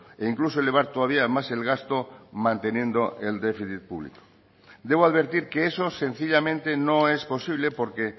e incluso elevar todavía más el gasto manteniendo el déficit público debo advertir que eso sencillamente no es posible porque